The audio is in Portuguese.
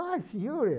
Ah, senhor!